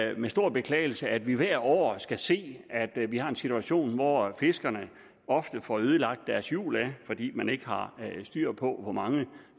er med stor beklagelse at vi hvert år skal se at vi har en situation hvor fiskerne ofte får ødelagt deres jul fordi man ikke har styr på hvor mange